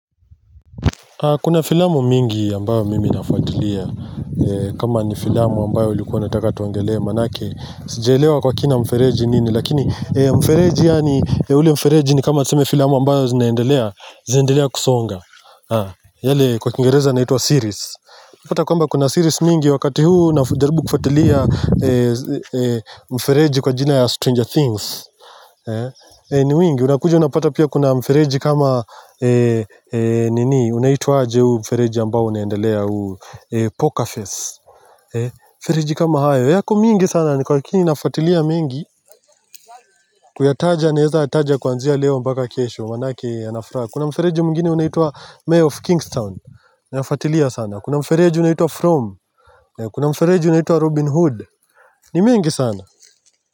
Kuna filamu mingi ambayo mimi nafuatilia. Kama ni filamu ambayo ulikuwa nataka tuongelee maana yake sijaelewa kwa kina mfereji nini, lakini ee mfereji yaani ee ule mfereji ni kama tuseme filamu ambayo zinaendelea zinaendelea kusonga. Yale kwa kiingereza inaitwa series hata kwamba kuna series mingi wakati huu najaribu kufuatilia mfereji kwa jina ya Stranger Things. Ni nyingi unakuja unapata pia kuna mfereji kama nini unaitwa aje huu mfereji ambao unayendelea huu Poker Face. Mfereji kama hayo yako mingi sana ni kwa lakini nafuatilia mingi. Kuyataja naweza taja kwanzia leo mpaka kesho maana yake yanafuraha. Kuna mfereji mwingine unaituwa Mayor of Kingston. Unafatilia sana Kuna mfereji unaituwa From Kuna mfereji unaituwa Robin Hood, ni mingi sana.